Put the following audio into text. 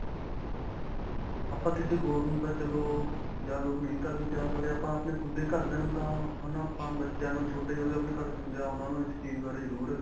ਆਪਾਂ ਕਿਸੇ ਹੋਰ ਨੂੰ ਤਾਂ ਚਲੋ ਜਾਗਰੂਕ ਨਹੀਂ ਕਰਦੇ ਆਪਾਂ ਆਪਣੇ ਖੁਦ ਦੇ ਘਰਦਿਆਂ ਨੂੰ ਤਾਂ ਹੈ ਨਾ. ਆਪਾ ਬੱਚਿਆ ਨੂੰ ਛੋਟੇ ਜੋ ਕਿ ਆਪਣੇ ਘਰ ਵਿੱਚ ਹੁੰਦੇ ਆ ਉਨ੍ਹਾਂ ਨੂੰ ਇਸ ਚੀਜ਼ ਬਾਰੇ ਜਰੁਰ.